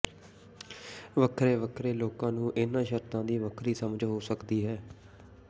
ਵੱਖੋ ਵੱਖਰੇ ਲੋਕਾਂ ਨੂੰ ਇਹਨਾਂ ਸ਼ਰਤਾਂ ਦੀ ਵੱਖਰੀ ਸਮਝ ਹੋ ਸਕਦੀ ਹੈ